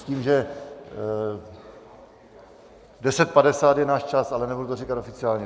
S tím, že 10.50 je náš čas, ale nebudu to říkat oficiálně.